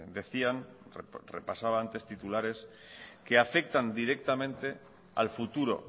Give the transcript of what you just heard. decían repasaba antes los titulares que afectan directamente al futuro